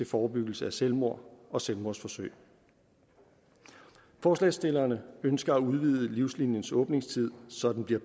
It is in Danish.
forebyggelse af selvmord og selvmordsforsøg forslagsstillerne ønsker at udvide livsliniens åbningstid så den bliver